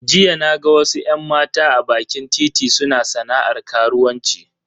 Jiya naga wasu yan mata a bakin titi suna sana'ar karuwanci.